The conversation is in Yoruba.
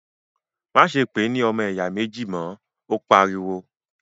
má ṣe pè é ní “ ọmọ ẹ̀yà méjì ” mọ̀! ó pariwo.